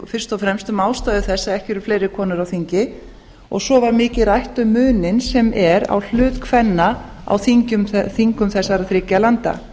fyrst og fremst um ástæður þess að ekki eru fleiri konur á þingi og svo var mikið rætt um muninn sem er á hlut kvenna á þingum þessara þriggja landa